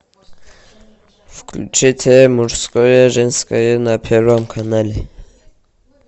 включите мужское женское на первом канале